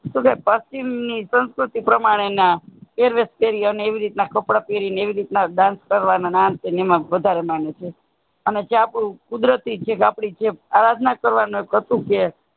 શુ કે કહે પક્ષિમ ની સસ્કૃતિ પ્રમાણે ના પહેરવેશ પેહરી અને એ રીતના કપડાં પેહેરી ને એવી રીત ના dance કરવામાં ને આમ તેમ એમાં વાધારે માને છે કુદરતી છે જે આપણી આરાધના કરવાનું શું કે